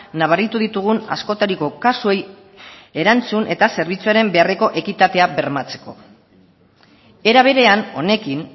nabaritu ditugun askotariko kasuei erantzun eta zerbitzuaren beharreko ekitatea bermatzeko era berean honekin